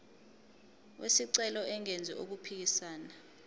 wesicelo engenzi okuphikisana